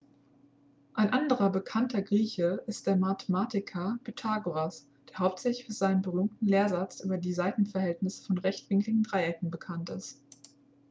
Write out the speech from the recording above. ein anderer bekannter grieche ist der mathematiker pythagoras der hauptsächlich für seinen berühmten lehrsatz über die seitenverhältnisse von rechtwinkligen dreiecken bekannt ist